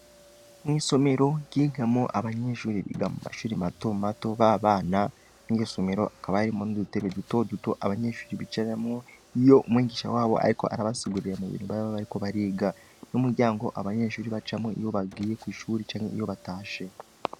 Mw'isomero ryigamwo abanyeshure biga muma shule mato mato b'abana, iryo somero rikaba ririmwo udutebe duto duto abanyeshure bicaramwo, iyo umwigisha wabo ariko arabasigurira mubintu baba bariko bariga, n'umuryango abanyeshure bacamwo iyo bagiye kw'ishule canke iyo batashe.